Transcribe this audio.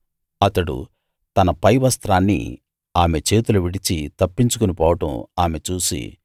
అతడు తన పై వస్త్రాన్ని ఆమె చేతిలో విడిచి తప్పించుకుని పోవడం ఆమె చూసి